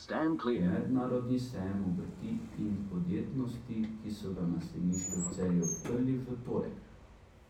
Mednarodni sejem obrti in podjetnosti, ki so ga na sejmišču v Celju odprli v torek.